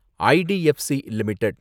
IDFC limited